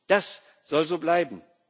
Das soll so bleiben